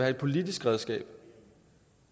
et politisk redskab